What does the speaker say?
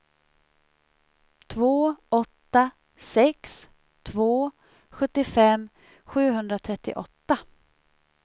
två åtta sex två sjuttiofem sjuhundratrettioåtta